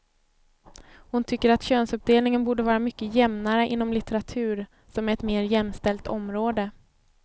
Hon tycker att könsuppdelningen borde vara mycket jämnare inom litteratur, som är ett mer jämställt område.